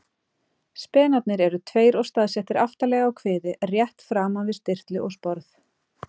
Spenarnir eru tveir og staðsettir aftarlega á kviði, rétt framan við stirtlu og sporð.